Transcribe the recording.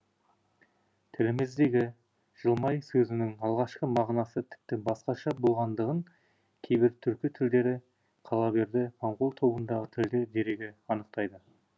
тіліміздегі жылмай сөзінің алғашқы мағынасы тіпті басқаша болғандығын кейбір түркі тілдері қала берді моңғол тобындағы тілдер дерегі анықтайды